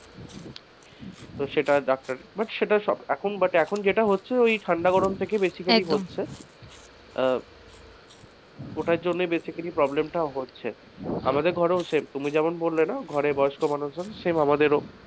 সেটা doctor but এখন যেটা হচ্ছে ওই ঠান্ডা গরম থেকে বেশি কিছু হচ্ছে আহ ওটার জন্যই basically problem টা হচ্ছে আমাদের ঘরেও same তুমি যেটা বললে না ঘরে বয়স্ক মানুষজন same আমাদেরও,